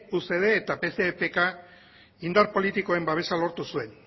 ucd eta pce epk indar politikoen babesa lortu zuen